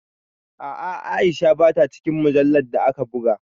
A’a, Aisha ba ta cikin mujallar da aka buga